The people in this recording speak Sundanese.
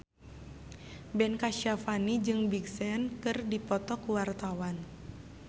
Ben Kasyafani jeung Big Sean keur dipoto ku wartawan